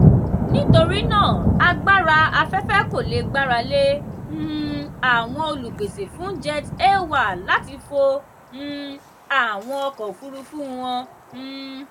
nítorí náà agbára afẹ́fẹ́ kò le gbára lé um àwọn olùpèsè fún jet a1 láti fo um àwọn ọkọ̀ òfúrufú wọn. um